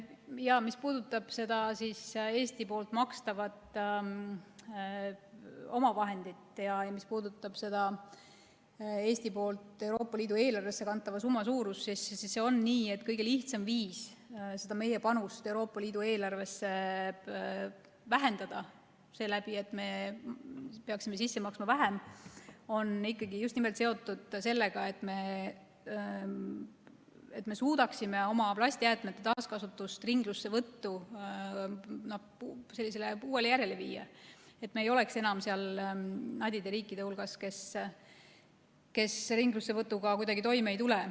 Jaa, mis puudutab Eesti makstavat omavahendit ja Euroopa Liidu eelarvesse kantava summa suurust, siis see on nii, et kõige lihtsam viis seda meie panust Euroopa Liidu eelarvesse vähendada seeläbi, et me peaksime sisse maksma vähem, on ikkagi just nimelt seotud sellega, et me suudaksime oma plastjäätmete taaskasutust ja ringlussevõttu uuele, paremale järjele viia, nii et me ei oleks enam seal nadide riikide hulgas, kes ringlussevõtuga kuidagi toime ei tule.